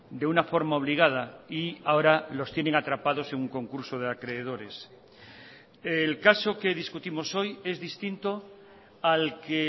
de una forma obligada y ahora los tienen atrapados en un concurso de acreedores el caso que discutimos hoy es distinto al que